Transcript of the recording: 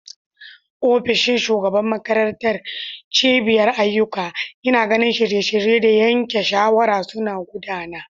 Ofishin shugaban makarantar, cibiyar ayyuka, yana ganin shirye-shirye da yanke shawara suna gudana.